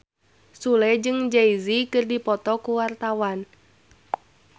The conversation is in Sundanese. Sule jeung Jay Z keur dipoto ku wartawan